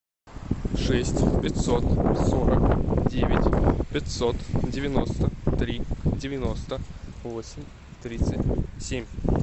шесть пятьсот сорок девять пятьсот девяносто три девяносто восемь тридцать семь